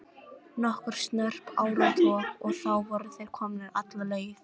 Nokkur snörp áratog og þá voru þeir komnir alla leið.